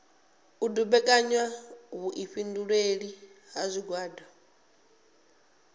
u dumbekanya vhuifhinduleli ha zwigwada